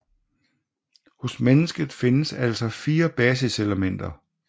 Hos mennesket findes altså fire basiselementer